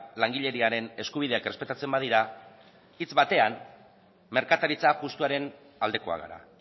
langileriaren eskubideak errespetatzen badira hitz batean merkataritza justuaren aldekoak gara